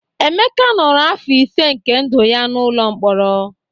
Emeka nọrọ afọ ise nke ndụ ya n'ụlọ mkpọrọ